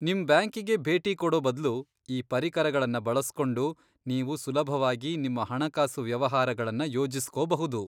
ನಿಮ್ ಬ್ಯಾಂಕಿಗೆ ಭೇಟಿ ಕೊಡೋ ಬದ್ಲು ಈ ಪರಿಕರಗಳನ್ನ ಬಳಸ್ಕೊಂಡು ನೀವು ಸುಲಭವಾಗಿ ನಿಮ್ಮ ಹಣಕಾಸು ವ್ಯವಹಾರಗಳನ್ನ ಯೋಜಿಸ್ಕೋಬಹುದು.